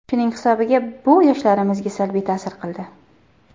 Shuning hisobiga bu yoshlarimizga salbiy ta’sir qildi.